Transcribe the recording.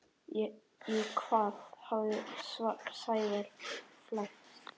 Í hvað hafði Sævar flækst?